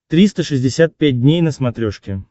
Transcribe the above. триста шестьдесят пять дней на смотрешке